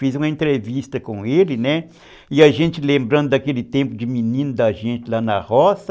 Fiz uma entrevista com ele, e a gente, lembrando daquele tempo de menino da gente lá na roça,